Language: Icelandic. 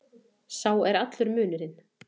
Sá er allur munurinn.